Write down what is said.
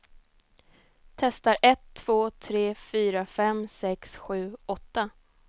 Testar en två tre fyra fem sex sju åtta.